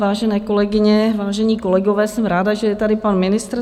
Vážené kolegyně, vážení kolegové, jsem ráda, že je tady pan ministr.